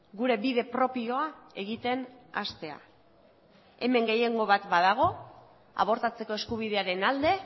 gure bide propioa egiten hastea hemen gehiengo bat badago abortatzeko eskubidearen alde